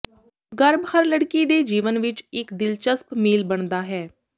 ਗਰਭ ਹਰ ਲੜਕੀ ਦੇ ਜੀਵਨ ਵਿੱਚ ਇੱਕ ਦਿਲਚਸਪ ਮੀਲ ਬਣਦਾ ਹੈ